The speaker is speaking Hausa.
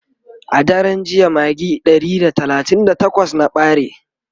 a daran jiya magi Ɗari da talatin da takwas na ɓare